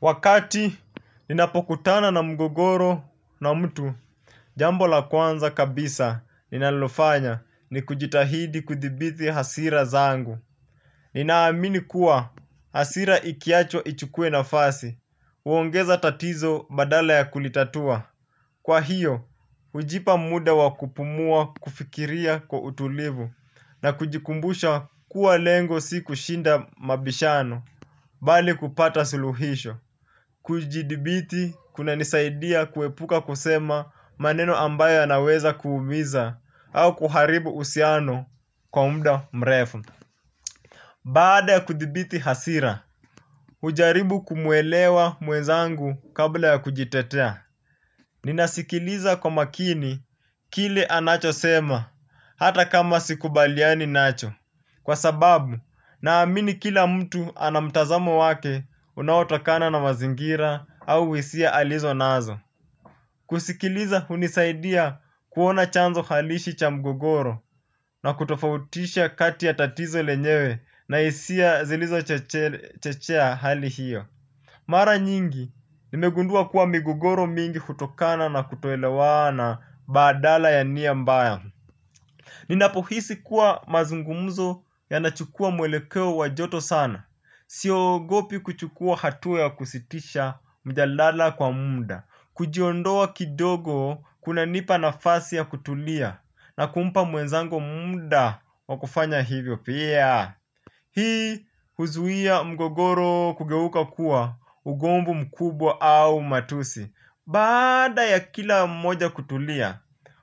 Wakati ninapokutana na mgogoro na mtu jambo la kwanza kabisa ninalofanya ni kujitahidi kuthibithi hasira zangu. Ninaamini kuwa hasira ikiachwa ichukue nafasi huongeza tatizo badala ya kulitatua. Kwa hiyo, hujipa muda wa kupumua kufikiria kwa utulivu na kujikumbusha kuwa lengo si kushinda mabishano bali kupata suluhisho. Kujidhibiti kunanisaidia kuepuka kusema maneno ambayo yanaweza kuumiza au kuharibu uhusiano kwa muda mrefu. Baada ya kudhibiti hasira, hujaribu kumwelewa mwenzangu kabla ya kujitetea. Ninasikiliza kwa makini kile anacho sema hata kama sikubaliani nacho. Kwa sababu naamini kila mtu ana mtazamo wake unaotokana na mazingira au hisia alizo nazo. Kusikiliza hunisaidia kuona chanzo halisi cha mgogoro na kutofautisha kati ya tatizo lenyewe na hisia zilizo chechea hali hiyo. Mara nyingi nimegundua kuwa migogoro mingi hutokana na kutoelewa badala ya nia mbaya. Ninapohisi kuwa mazungumzo yanachukua mwelekeo wa joto sana. Siogopi kuchukua hatua ya kusitisha mjadala kwa muda. Kujiondoa kidogo kunanipa nafasi ya kutulia na kumpa mwenzangu muda wa kufanya hivyo pia. Hii huzuia mgogoro kugeuka kuwa ugomvu mkubwa au matusi bada ya kila mmoja kutulia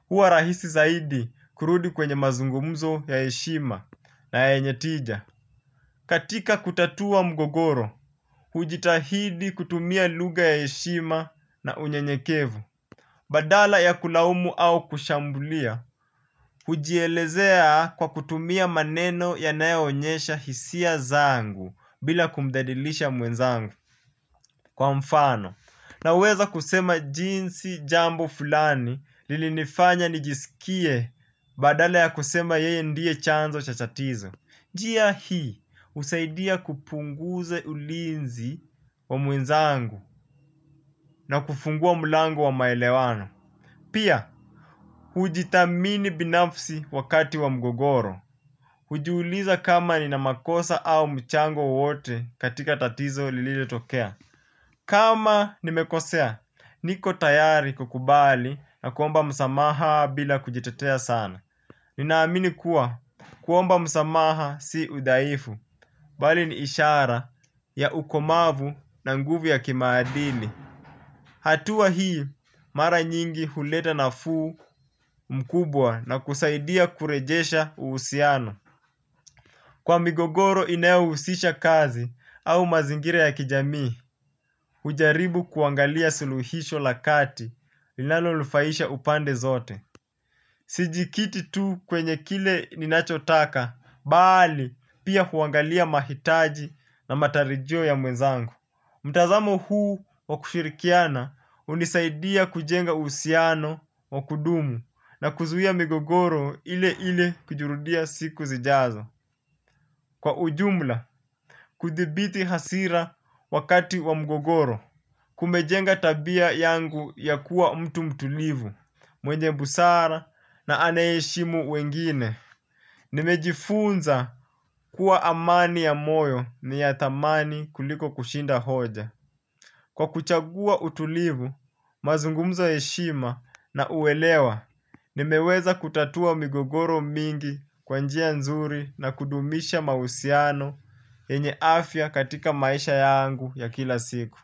huwa rahisi zaidi kurudi kwenye mazungumzo ya heshima na yenye tija. Katika kutatua mgogoro, hujitahidi kutumia lugha ya heshima na unyenyekevu. Badala ya kulaumu au kushambulia, hujielezea kwa kutumia maneno yanayoonyesha hisia zangu bila kumdhalilisha mwenzangu kwa mfano. Na uweza kusema jinsi jambo fulani lilinifanya nijisikie badale ya kusema yeye ndiye chanzo cha tatizo. Njia hii husaidia kupunguza ulinzi wa mwenzangu na kufungua mlangu wa maelewano. Pia, hujithamini binafsi wakati wa mgogoro. Hujiuliza kama nina makosa au mchango wowote katika tatizo lililotokea. Kama nimekosea, niko tayari kukubali na kuomba msamaha bila kujitetea sana. Ninaamini kuwa kuomba msamaha si udhaifu, bali ni ishara ya ukomavu na nguvu ya kimaadili. Hatua hii, mara nyingi huleta nafuu mkubwa na kusaidia kurejesha uhusiano. Kwa migogoro inayohusisha kazi au mazingira ya kijami, hujaribu kuangalia suluhisho la kati linalonufaisha upande zote. Sijikiti tu kwenye kile ninachotaka, bali pia kuangalia mahitaji na matarajio ya mwezangu. Mtazamo huu wa kushirikiana hunisaidia kujenga uhusiano wa kudumu na kuzuia migogoro ile ile kujirudia siku zijazo. Kwa ujumla, kuthibiti hasira wakati wa mgogoro. Kumejenga tabia yangu ya kuwa mtu mtulivu, mwenye busara na anayeheshimu wengine. Nimejifunza kuwa amani ya moyo ni ya thamani kuliko kushinda hoja. Kwa kuchagua utulivu, mazungumzo ya heshima na uelewa, nimeweza kutatua migogoro mingi kwa njia nzuri na kudumisha mahusiano yenye afya katika maisha yangu ya kila siku.